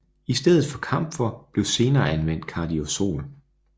I stedet for kamfer blev senere anvendt cardiazol